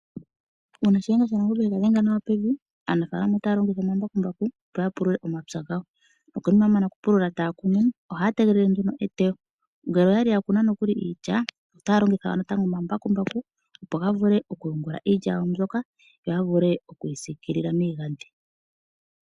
Uuna shiyenga shanangombe ega dhenga nawa pevi, aanafaalama otaya longitha omambakumbaku opo yapulule omapya gawo, nokonima yamana okupulula taya kunu, ohaya tegelele nduno eteyo ngele oyali yakuna nokuli iilya otaya longitha natango omambakumbaku opo gavule okuyungula iilya yawo mbyoka yo yavule okuyi siikilila miigadhi.